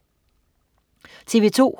TV2: